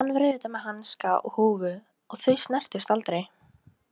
Hann var auðvitað með hanska og húfu og þau snertust aldrei.